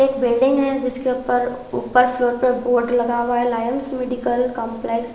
एक बिल्डिंग है जिसके ऊपर ऊपर फ्लोर पे बोर्ड लगा हुआ है लायंस मेडिकल कंपलेक्स ।